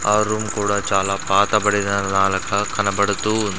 ఆ రూమ్ కూడా చాలా పాతబడిన కనబడుతూ ఉం--